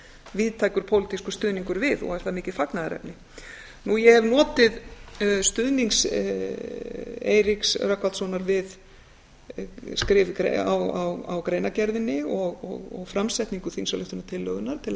víðtækur pólitískur stuðningur við og er það mikið fagnaðarefni ég hef notið stuðnings eiríks rögnvaldssonar við skrif á greinargerðinni og framsetningu þingsályktunartillögunnar til að